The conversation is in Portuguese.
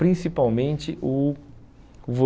Principalmente o